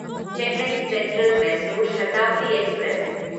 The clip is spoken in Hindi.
Chennai central Mysore Shatabdi express